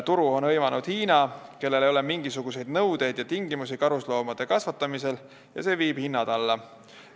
Turu on hõivanud Hiina, kellel ei ole mingisuguseid nõudeid ja tingimusi karusloomade kasvatamisel ja see viib hinnad alla.